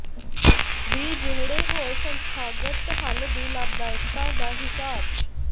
ਵੀ ਜਿਹੜੇ ਹੋਰ ਸੰਸਥਾਗਤ ਹੱਲ ਦੀ ਲਾਭਦਾਇਕਤਾ ਦਾ ਹਿਸਾਬ